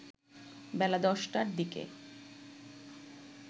বেলা ১০টার দিকে